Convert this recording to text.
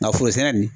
Nka forosɛnɛ nin